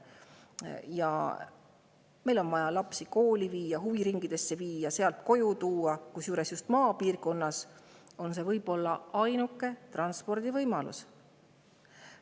Lapsi on vaja viia kooli, huviringidesse, sealt koju tuua, kusjuures just maapiirkonnas on see võib-olla ainuke transpordivõimalus.